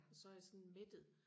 og så er jeg sådan mættet